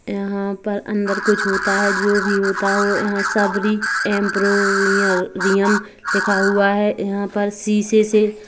यहाँ पर अंदर कुछ होता है जो भी होता हो यहाँ सबूरी एमपोरोरियम लिखा हुआ है यहाँ पर शीशे से--